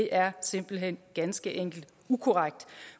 er simpelt hen ganske enkelt ukorrekt